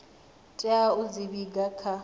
tea u dzi vhiga kha